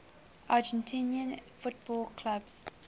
argentine football clubs